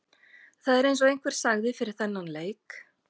Það er eins og einhver sagði fyrir þennan leik.